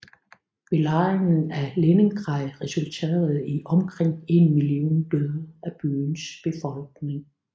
Belejringen af Leningrad resulterede i omkring en million døde af byens befolkning